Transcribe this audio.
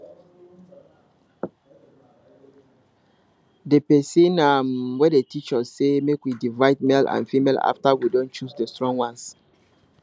the person um wey dey teach us say make we divide male and female after we don choose the strong ones